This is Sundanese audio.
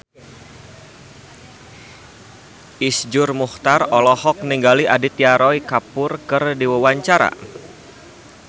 Iszur Muchtar olohok ningali Aditya Roy Kapoor keur diwawancara